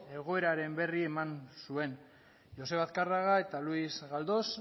egoeraren berri eman zuen joseba azkarraga eta luis galdós